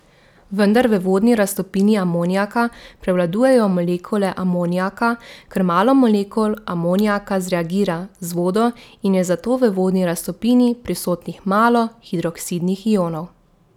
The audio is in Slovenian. Vendar v vodni raztopini amonijaka prevladujejo molekule amonijaka, ker malo molekul amonijaka zreagira z vodo in je zato v vodni raztopini prisotnih malo hidroksidnih ionov.